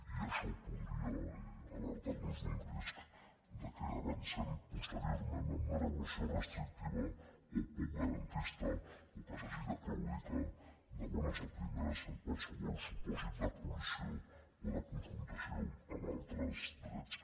i això podria alertar nos d’un risc que avancem posteriorment amb una regulació restrictiva o poc garantista o que s’hagi de claudicar de bones a primeres en qualsevol supòsit de col·lisió o de confrontació amb altres drets